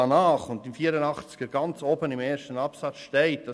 In Artikel 84 steht im ersten Absatz ganz oben: